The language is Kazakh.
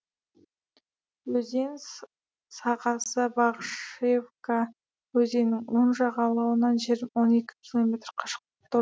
өзен сағасы бағышевка өзенінің оң жағалауынан он екі километр қашықтықта